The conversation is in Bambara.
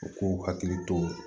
U k'u hakili to